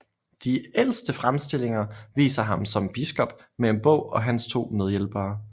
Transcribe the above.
De ældste fremstillinger viser ham som biskop med en bog og hans to medhjælpere